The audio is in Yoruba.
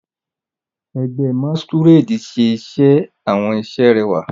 Ẹgbẹ́ masquerade ṣe àwọn iṣẹ́ tó rẹwà.